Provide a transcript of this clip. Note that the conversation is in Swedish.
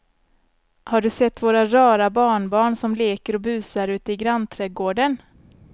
Har du sett våra rara barnbarn som leker och busar ute i grannträdgården!